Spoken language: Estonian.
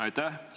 Aitäh!